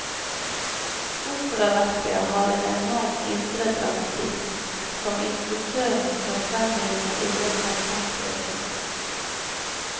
Operaverket har en enorm indre dramatikk, som instruktøren skal frembringe i løpet av fem prøveuker.